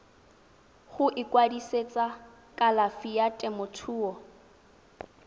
go ikwadisetsa kalafi ya temothuo